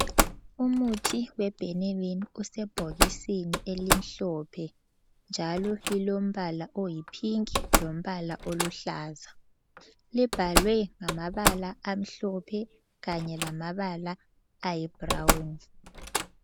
Umuthi weBhenilini, usebhokisini elimhlophe njalo lilombala oyiphinki lombala oluhlaza. Libhalwe ngamabala amhlophe kanye lamabala ayibrawuni.